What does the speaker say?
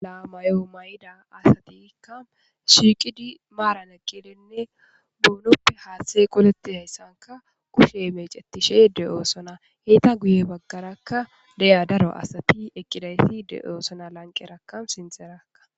Lamayo mayida asatika shiqid maran eqidinne bonoppe hathe qoletidayisanika kushe mec,etishe de,osona eta guye bagaraka deyiya daro asati eqidayiti de,osona lanqeraka sintharaka